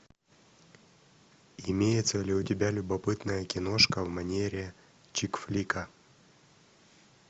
имеется ли у тебя любопытная киношка в манере чикфлика